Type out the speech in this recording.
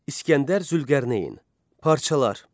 İsgəndər Zülqərneyn, parçalar.